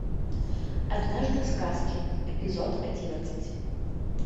однажды в сказке эпизод одиннадцать